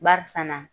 Barisa na